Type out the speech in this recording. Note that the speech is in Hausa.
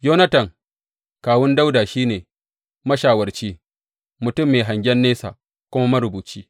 Yonatan, kawun Dawuda, shi ne mashawarci, mutum mai hangen nesa kuma marubuci.